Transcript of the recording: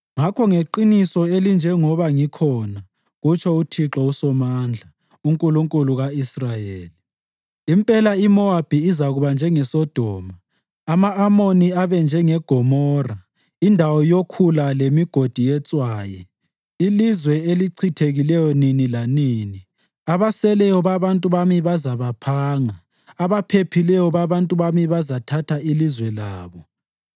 Ngakho ngeqiniso elinjengoba ngikhona,” kutsho uThixo uSomandla, uNkulunkulu ka-Israyeli, “impela iMowabi izakuba njengeSodoma, ama-Amoni abe njengeGomora, indawo yokhula lemigodi yetshwayi, ilizwe elichithekileyo nini lanini. Abaseleyo babantu bami bazabaphanga; abaphephileyo babantu bami bazathatha ilizwe labo.”